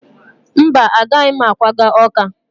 Mba, agaghị m akwaga Ọka